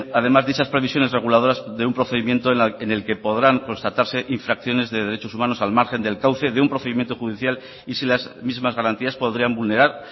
además dichas previsiones reguladoras de un procedimiento en el que podrán constatarse infracciones de derechos humanos al margen del cauce de un procedimiento judicial y si las mismas garantías podrían vulnerar